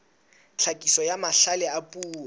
tlhakiso ya mahlale a puo